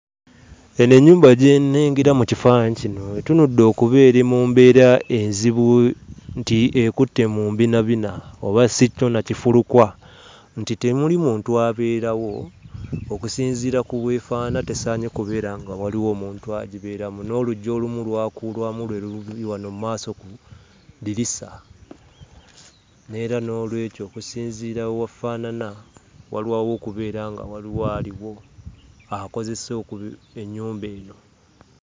Eno ennyumba gye nnengera mu kifaananyi kino etunudde okuba eri mu mbeera enzibu nti ekutte mu mbinabina oba si kyo, na kifulukwa nti temuli muntu abeerawo, okusinziira ku bw'efaanaana tesaanye kubeera nga waliwo omuntu agibeeramu. N'oluggi olumu lwakulwamu lwe luli wano mu maaso ku ddirisa. N'era noolwekyo, okusinziira we wafaanana, walwawo okubeera nga waliwo aliwo, akozesa ennyumba eno.